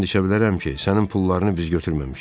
And içə bilərəm ki, sənin pullarını biz götürməmişik.